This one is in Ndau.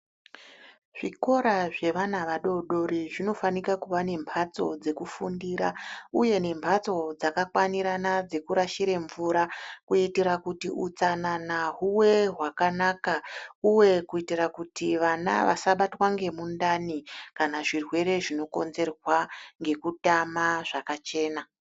Zvikora zvevana vadodori zvinofanika kuva nembatso dzekufundira uye nembatso dzaka kwanirana dzekurashira mvura kuitira kuti hutsanana huge hwakanaka uye kuitira kuti vana vasabatwa ngemundani kana zvirwere zvinokonzerwa ngekutama zvakachena.